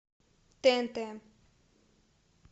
тнт